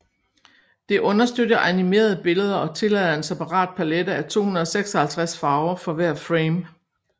Det understøtter animerede billeder og tillader en separat palette af 256 farver for hver frame